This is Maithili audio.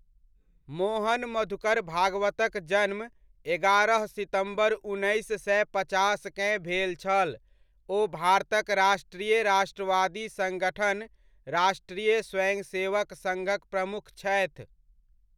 मोहन मधुकर भागवतक जन्म एगारह सितम्बर उन्नैस सए पचासकेँ भेल छल, ओ भारतक राष्ट्रीय राष्ट्रवादी सङ्गठन, राष्ट्रीय स्वयंसेवक सङ्घक प्रमुख छथि।